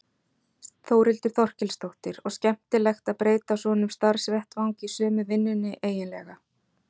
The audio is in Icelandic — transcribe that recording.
Þórhildur Þorkelsdóttir: Og skemmtilegt að breyta svona um starfsvettvang í sömu vinnunni eiginlega?